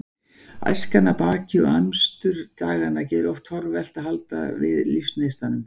Æskan er að baki og amstur daganna gerir oft torvelt að halda við lífsneistanum.